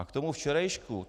A k tomu včerejšku.